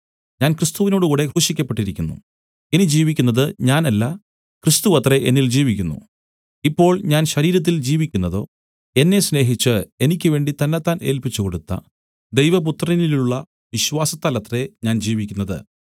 ഞാൻ ക്രിസ്തുവിനോടുകൂടെ ക്രൂശിക്കപ്പെട്ടിരിക്കുന്നു ഇനി ജീവിക്കുന്നത് ഞാനല്ല ക്രിസ്തുവത്രേ എന്നിൽ ജീവിക്കുന്നു ഇപ്പോൾ ഞാൻ ശരീരത്തിൽ ജീവിക്കുന്നതോ എന്നെ സ്നേഹിച്ച് എനിക്കുവേണ്ടി തന്നെത്താൻ ഏല്പിച്ചുകൊടുത്ത ദൈവപുത്രനിലുള്ള വിശ്വാസത്താലത്രേ ഞാൻ ജീവിക്കുന്നത്